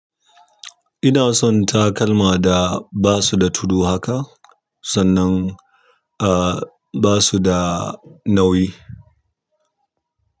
Ina son takalma da ba su da tudu haka sannan ah ba su da nauyi.